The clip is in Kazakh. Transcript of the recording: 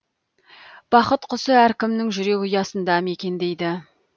бақыт құсы әркімнің жүрек ұясында мекендейді